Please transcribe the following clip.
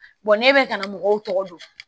ne bɛ ka na mɔgɔw tɔgɔ dɔn